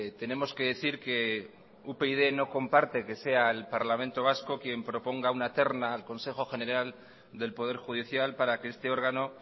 tenemos que decir que upyd no comparte que sea el parlamento vasco quien proponga una terna al consejo general del poder judicial para que este órgano